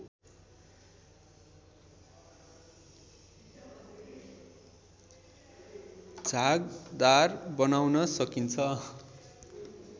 झागदार बनाउन सकिन्छ